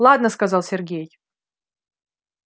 ладно сказал сергей